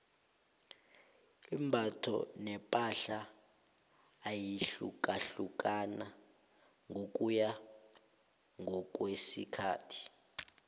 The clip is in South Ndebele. imbatho nepahla iyahlukahlukana ngokuya ngokwesikhathi